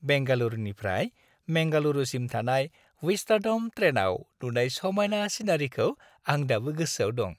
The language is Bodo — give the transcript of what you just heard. बेंगालुरुनिफ्राय मेंगलुरुसिम थानाय विस्टाड'म ट्रेनआव नुनाय समायना सिनारिखौ आं दाबो गोसोआव दं।